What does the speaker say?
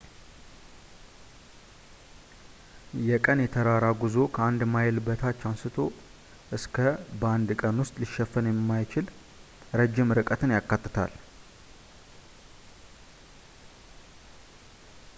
የቀን የተራራ ጉዞ ከአንድ ማይል በታች አንስቶ እስከ በአንድ ቀን ውስጥ ሊሸፈን የሚችል ረዥም ርቀትን ያካትታል